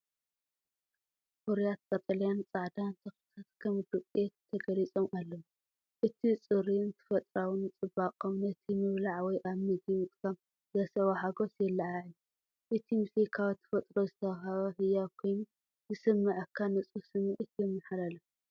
ፍሩያት ቀጠልያን ጻዕዳን ተኽልታት ከም ዱቄት ተገሊጾም ኣለዉ። እቲ ጽሩይን ተፈጥሮኣዊን ጽባቐኦም ነቲ ምብላዕ ወይ ኣብ መግቢ ምጥቃም ዘስዕቦ ሓጐስ የለዓዕል። እቲ ምስሊ ካብ ተፈጥሮ ዝተዋህበ ህያብ ኮይኑ ዝስምዓካ ንጹህ ስምዒት የመሓላልፍ።